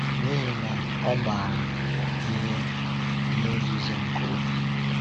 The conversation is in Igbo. N’ihi na Ọ maara ihe ihe nzuzo nke obi.